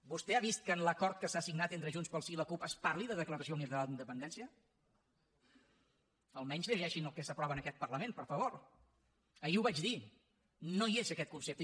vostè ha vist que en l’acord que s’ha signat entre junts pel sí i la cup es parli de declaració unilateral d’independència almenys llegeixin el que s’aprova en aquest parlament per favor ahir ho vaig dir no hi és aquest concepte